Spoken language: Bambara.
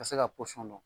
Ka se ka pɔsɔn dɔn